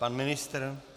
Pan ministr?